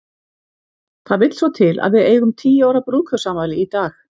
Það vill svo til að við eigum tíu ára brúðkaupsafmæli í dag.